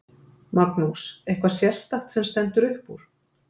Magnús: Eitthvað sérstakt sem stendur upp úr?